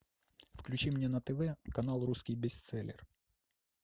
включи мне на тв канал русский бестселлер